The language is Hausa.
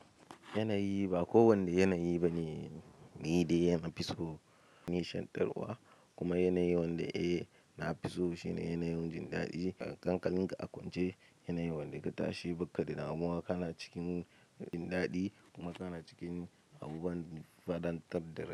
Yanayi ba kowanne yanayi bane, ni dai yana fiso nashantarwa kuma yanayin wanda eh na fiso shine yanayin jin daɗi. A kankalin ka a kwance yanayin wanda ka tashi bukka da damowa ka na cikin jin daɗi kuma ka na cikin abubuwan fadantad da.